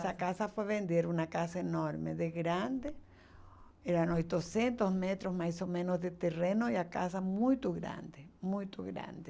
Essa casa foi vendida, era uma casa enorme, de grande, eram oitocentos metros mais ou menos de terreno e a casa muito grande, muito grande.